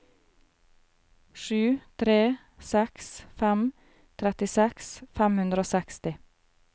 sju tre seks fem trettiseks fem hundre og seksti